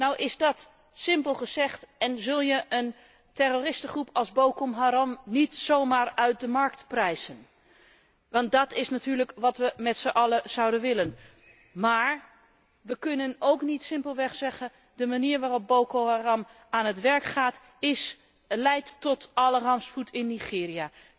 Nou is dat simpel gezegd en zul je een terroristengroep als Boko Haram niet zomaar uit de markt prijzen, want dit is natuurlijk wat we met z'n allen zouden willen, maar we kunnen ook niet simpelweg zeggen de manier waarop Boko Haram tewerk gaat, leidt tot alle rampspoed in Nigeria.